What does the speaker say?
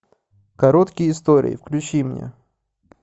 короткие истории включи мне